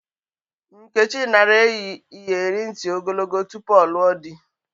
Nkechi nara eyi iyeri nti ogologo tupu ọ lụọ dị.